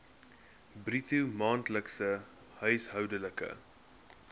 bruto maandelikse huishoudelike